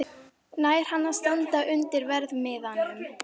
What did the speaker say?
Fólkið lét tilleiðast að sýna þig.